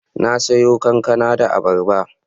Na siyo kankana da abarba